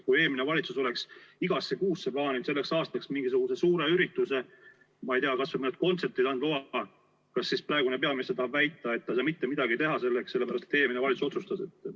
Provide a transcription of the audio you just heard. Kui eelmine valitsus oleks igasse kuusse plaaninud selleks aastaks mingisuguse suure ürituse, ma ei tea, kas või mõned kontserdid, kas siis praegune peaminister tahab väita, et ta ei saa mitte midagi teha, sellepärast et eelmine valitsus otsustas?